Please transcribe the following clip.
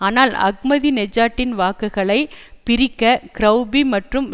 ஆனால் அஹ்மதி நெஜாட்டின் வாக்குகளை பிரிக்க கரெளபி மற்றும்